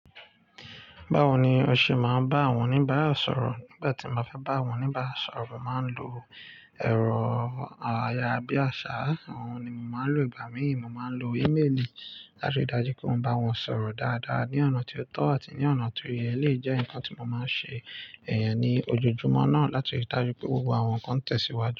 Báwo ni o ṣe máa ń bá àwọn oníbàrá sọ̀rọ̀? Nígbà tí mo bá fẹ́ bá àwọn oníbàrá sọ̀rọ̀, mo màá ń lo ẹ̀rọ ayárabíàṣá. Àwọn ni mo máa ń lò. Ìgbà míì mo máa ń lo ímélì láti rí i dájú pé mo bá wọn sọ̀rọ̀ dáadáa ní ọ̀nà tí ó tọ́ àti ní ọ̀nà tí ó yẹ. Lé jẹ́ nǹkan tí mo máa ń ṣe, ẹyẹni, ojoojúmọ́ náà láti rí i dájú pé gbogbo àwọn nǹkan tẹ̀síwájú.